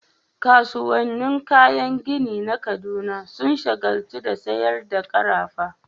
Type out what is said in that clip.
Kasuwannin kayan gini na Kaduna sun shagaltu da sayar da karafa